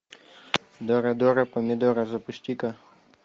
дора дора помидора запусти ка